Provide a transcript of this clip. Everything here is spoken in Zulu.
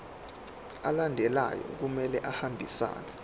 alandelayo kumele ahambisane